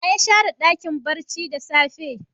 Wa ya share Dakin barci da sage?